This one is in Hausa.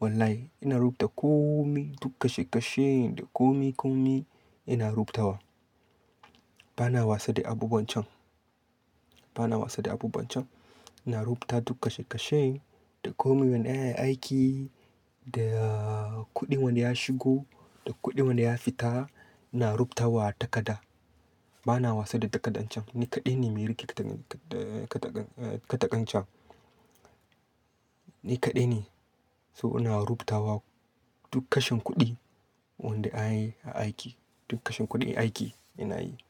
wallahi. Ina rubuta komi duk kashe-kashen da komi komi ina rubutawa. Bana wasa da abubuwan can. Bana wasa da abubuwan can. Ina rubuta duk kashe-kashen da komi wanda an yi aiki, da kuɗin wanda ya shigo, da kuɗin wanda ya fita ina rubutawa takarda. Bana wasa da takardan can. Ni kaɗai ne merike takardan can. Ni kaɗai ne. So ina rubutawa duk kashin kuɗi wanda an yi aiki. Duk kashin kuɗin aiki ina yi.